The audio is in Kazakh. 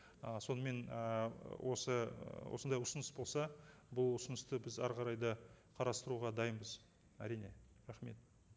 ы сонымен ы осы ы осындай ұсыныс болса бұл ұсынысты біз әрі қарай да қарастыруға дайынбыз әрине рахмет